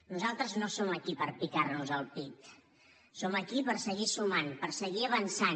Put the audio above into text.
nosaltres no som aquí per picar nos al pit som aquí per seguir sumant per seguir avançant